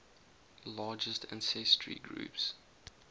largest ancestry groups